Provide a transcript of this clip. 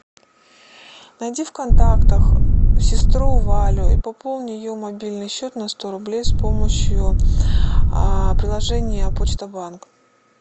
найди в контактах сестру валю и пополни ее мобильный счет на сто рублей с помощью приложения почта банк